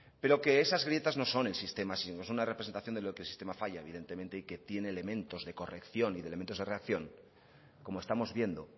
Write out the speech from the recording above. pero que esas grietas no son el sistema sino es una representación de lo que el sistema falla evidentemente y que tiene elementos de corrección y de elementos de reacción como estamos viendo